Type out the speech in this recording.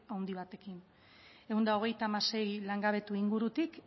handi batekin ehun eta hogeita hamasei langabetu ingurutik